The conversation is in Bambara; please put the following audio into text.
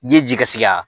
Ji ye ji ka sigi a